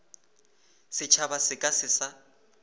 setšhaba se ka se sa